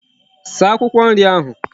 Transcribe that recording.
Saa Akwukwo nri ahu